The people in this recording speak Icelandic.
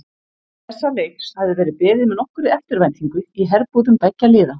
Þessa leiks hafði verið beðið með nokkurri eftirvæntingu í herbúðum beggja liða.